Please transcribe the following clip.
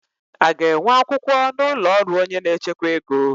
A ga-enwe akwụkwọ n'ụlọ ọrụ onye n'echekwa ego?